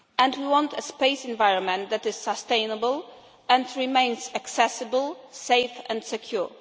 We want a space environment that is sustainable and remains accessible, safe and secure.